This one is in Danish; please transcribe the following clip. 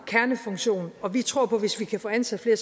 kernefunktion og vi tror på at hvis vi kan få ansat flere